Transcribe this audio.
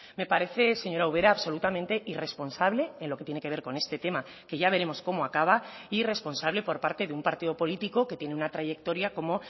me parece señora ubera absolutamente irresponsable en lo que tiene que ver con este tema que ya veremos cómo acaba y responsable por parte de un partido político que tiene una trayectoria como